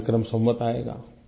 नया विक्रम संवत् आएगा